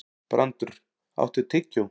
Brandr, áttu tyggjó?